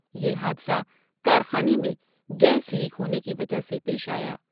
یہ حادثہ کارخانے میں گیس لیک ہونے کی وجہ سے پیش آیا۔